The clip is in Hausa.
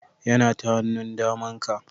Yana ta hannun daman ka